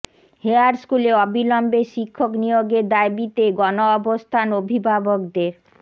hair স্কুলে অবিলম্বে শিক্ষক নিয়োগের দাবিতে গণ অবস্থান অভিভাবকদের